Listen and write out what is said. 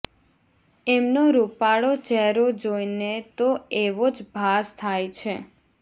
એમનો રૃપાળો ચહેરો જોઈને તો એવો જ ભાસ થાય છે